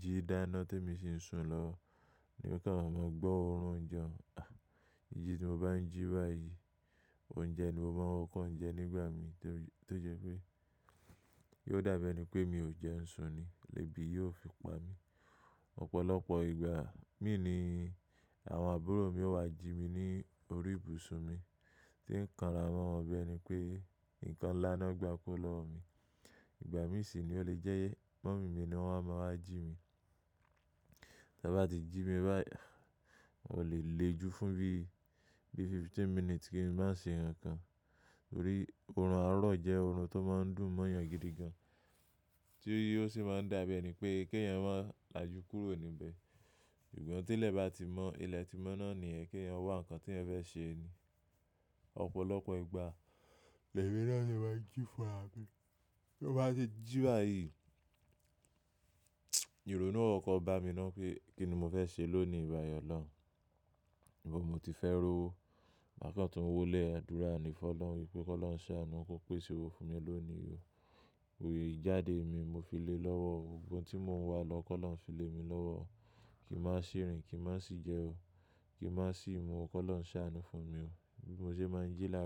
jí dáná tí èmi sì ń sùn lọwo. Tèmi kan màá mọ̀ gbọ́ ọ̀run òúnjẹ. Ah! Jíjí tí mo bá ń jí báyìí, òúnjẹ ni mo máa ń kọ́kọ́ jẹ nígbà mi tó jẹ́ pé yóò dàbí ẹni pé mi ò jẹun sùn ni, ébi yíò fi pa mí. Ọ̀pọ̀lọpọ̀ ìgbà, mí ni àwọn àbúrò mi ó wá jí mi ní orí ibùsùn mi tí ń kàn ara mo wọn bíi ẹni pé nǹkan ńlá náà gba kuo lọ́wọ́ mi. Ìgbà mí sì ni ó lè jẹ́ mummy mi ni wọ́n máa ń wá jí mi. Tí wọ́n bá ti jí mi báyìí, wọn ò lè le ju fún bí, bí fifteen minutes kí n má ṣe ohun kankan. Nítorí ọ̀run àárọ̀ jẹ́ ọ̀run tó máa ń dùn mọ́yan gidi gan-an tí ó sì máa ń dàbí ẹni pé kí èèyàn má làjú kúrò níbẹ̀. Ṣùgbọ́n tí ilé bá ti mọ́, ilẹ̀ ti mọ́ náà ni yẹn. Kí èèyàn wá nǹkan tí ẹ̀ fẹ́ ṣe ni. Ọ̀pọ̀lọpọ̀ ìgbà, le mi náà sì máa ń jí fún ra mi. Tí mo bá ṣe jí báyìí, ìrònú kókó bàá mi náà pé kí ni mo fẹ́ ṣe lónìí báyìí ọlọ́run. Ni bo mo ti fẹ́ ro, màá kàn tún wólẹ̀ àdúrà ni fún Ọlọ́run wípé kó lohun sàánú, kó pèsè owó fún mi lónìí o, ìjáde mi mo fi lé lọ́wọ́. Ohun gbogbo tí mò ń wá lọ kólohun fi lé mi lọ́wọ́. Kí nmàá sì rìn, kí nmàá sì jẹ o. Kí nmàá sì mu, kó lohun sàánú fún mi o. Bí mo ṣe máa ń jí láàárọ̀.